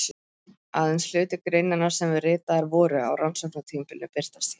Aðeins hluti greinanna sem ritaðar voru á rannsóknartímabilinu birtast hér.